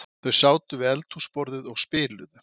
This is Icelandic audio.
Þau sátu við eldhúsborðið og spiluðu